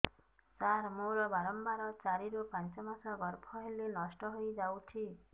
ସାର ମୋର ବାରମ୍ବାର ଚାରି ରୁ ପାଞ୍ଚ ମାସ ଗର୍ଭ ହେଲେ ନଷ୍ଟ ହଇଯାଉଛି